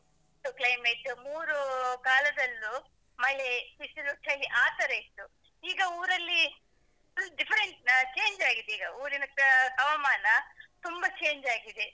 ಇತ್ತು climate ಮೂರು ಕಾಲದಲ್ಲೂ ಮಳೆ, ಬಿಸಿಲು, ಚಳಿ ಆತರ ಇತ್ತು. ಈಗ ಊರಲ್ಲಿ full different change ಆಗಿದೆ ಈಗ ಊರಿನದ್ದು ಹವಮಾನ ತುಂಬ change ಆಗಿದೆ.